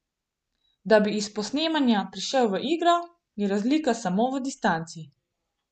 Da bi iz posnemanja prešel v igro, je razlika samo v distanci.